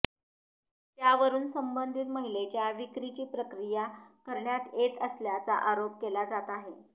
त्यावरून संबंधित महिलेच्या विक्रीची प्रक्रिया करण्यात येत असल्याचा आरोप केला जात आहे